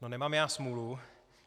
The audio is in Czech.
No nemám já smůlu?